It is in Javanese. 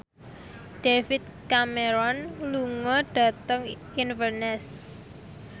David Cameron lunga dhateng Inverness